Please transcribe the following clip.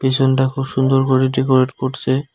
পিছনটা খুব সুন্দর করে ডেকোরেট করছে।